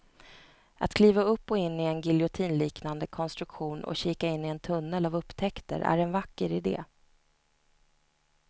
Att kliva upp och in i en giljotinliknande konstruktion och kika in i en tunnel av upptäckter är en vacker idé.